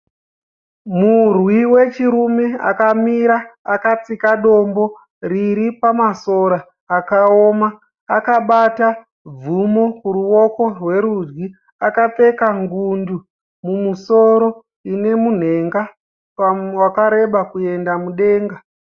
Murwi wechirume akamira akatsika dombo riri pamasora akaoma. Akabata bvumo kuruoko rwerudyi. Akapfeka ngundu mumusoro ine munhenga wakareba kuenda mudenga.